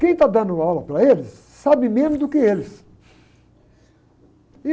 Quem está dando aula para eles, sabe menos do que eles.